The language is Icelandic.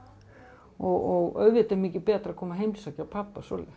og auðvitað er mikið betra að koma og heimsækja pabba svoleiðis